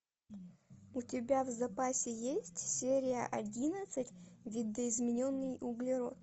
у тебя в запасе есть серия одиннадцать видоизмененный углерод